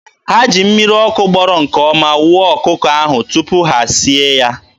Ha ji mmiri ọkụ gbọrọ nke ọma wụọ ọkụkọ ahụ tupu ha e sie ya.